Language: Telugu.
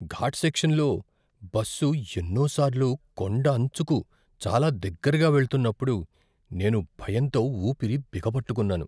ఘాట్ సెక్షన్లో బస్సు ఎన్నో సార్లు కొండంచుకు చాలా దగ్గరగా వెళ్తున్నప్పుడు నేను భయంతో ఊపిరి బిగబట్టుకున్నాను.